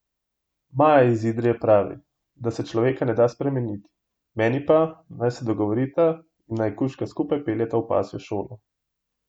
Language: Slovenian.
Maja iz Idrije pravi, da se človeka ne da spremeniti, meni pa, naj se dogovorita in naj kužka skupaj peljeta v pasjo šolo.